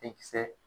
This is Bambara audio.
Denkisɛ